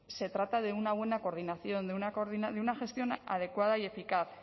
se trata de una buena coordinación de una gestión adecuada y eficaz